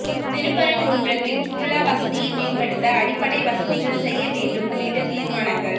திருப்பரங்குன்றத்தில் சுற்றுலா வசதியை மேம்படுத்த அடிப்படை வசதிகள் செய்ய வேண்டும் உள்ளிட்ட தீர்மானங்கள்